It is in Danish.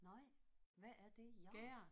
Nej. Hvad er det gær?